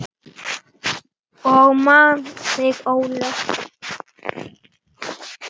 Ég man þig, Ólöf.